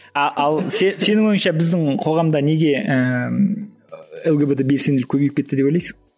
а ал сенің ойыңша біздің қоғамда неге ііі лгбт белсенділігі көбейіп кетті деп ойлайсың